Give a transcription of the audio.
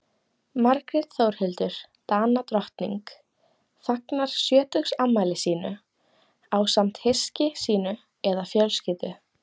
margrét þórhildur danadrottning fagnar sjötugsafmæli sínu ásamt hyski sínu eða fjölskyldu